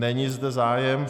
Není zde zájem.